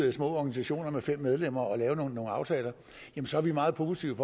at små organisationer med fem medlemmer og lave nogle aftaler så er vi meget positive